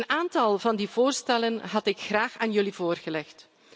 Een aantal van die voorstellen had ik graag aan jullie voorgelegd.